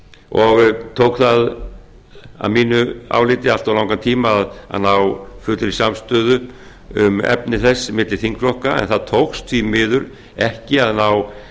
og tók að mínu áliti allt of langan tíma að ná fullri samstöðu um efni þess milli þingflokka því miður tókst ekki að